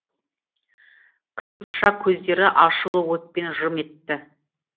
қиықша көздері ашулы отпен жым етті